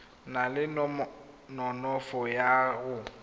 na le nonofo ya go